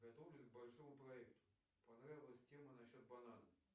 готовлюсь к большому проекту понравилась тема насчет банана